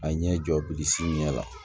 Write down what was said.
A ɲɛ jɔ bilisi ɲɛ la